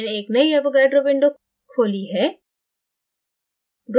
मैंने एक नयी avogadroविंडो खोली है